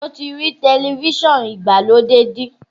Ṣé o ti rí tẹlifíṣọ̀n ìgbàlódé bí?